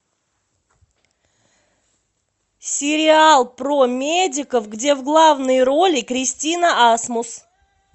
сериал про медиков где в главной роли кристина асмус